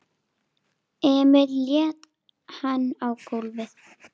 Emil lét hann á gólfið.